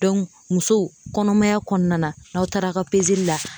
muso kɔnɔmaya kɔnɔna na n'aw taara ka la